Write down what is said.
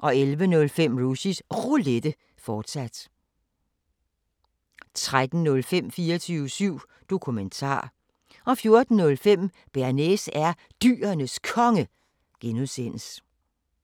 11:05: Rushys Roulette, fortsat 13:05: 24syv Dokumentar 14:05: Bearnaise er Dyrenes Konge (G)